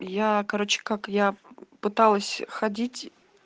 я короче как я пыталась ходить